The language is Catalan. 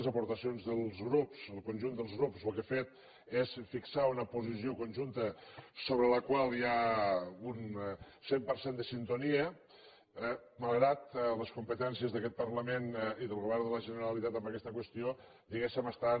les aportacions dels grups del conjunt dels grups el que han fet és fixar una posició conjunta sobre la qual hi ha un cent per cent de sintonia malgrat que les competències d’aquest parlament i del govern de la generalitat en aquesta qüestió diguéssem estan